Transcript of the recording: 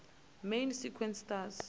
main sequence stars